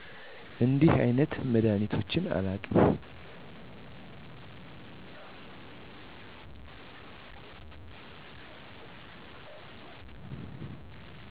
እንዲህ አይነት መድሃኒቶች አላውቅም